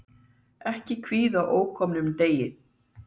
Ekki er að kvíða ókomnum degi.